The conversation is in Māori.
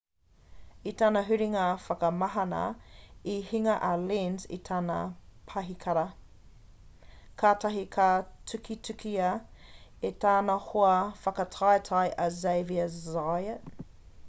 i tana huringa whakamahana i hinga a lenz i tana pahikara kātahi ka tukitukia e tana hoa whakataetae a xavier zayat